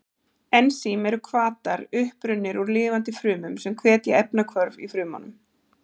Ensím eru hvatar, upprunnir úr lifandi frumum, sem hvetja efnahvörf í frumunum.